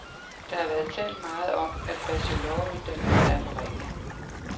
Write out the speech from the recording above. Der har været talt meget om, at bacheloruddannelsen er for ringe.